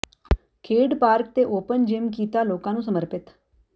ਖੇਡ ਪਾਰਕ ਤੇ open gym ਕੀਤਾ ਲੋਕਾਂ ਨੂੰ ਸਮਰਪਿਤ